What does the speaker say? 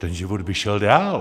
Ten život by šel dál!